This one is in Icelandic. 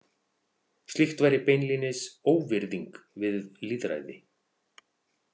Slíkt væri beinlínis óvirðing við lýðræði.